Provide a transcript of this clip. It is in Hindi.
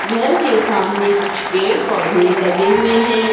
घर के सामने कुछ पेड़ पौधे लगे हुए हैं।